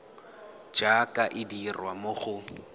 jaaka e dirwa mo go